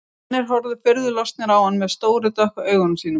Selirnir horfa furðu lostnir á hann með stóru dökku augunum sínum.